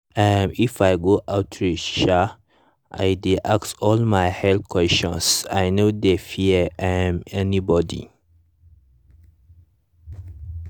um if i go outreach um i dey ask all my health questions i no dey fear um anybody.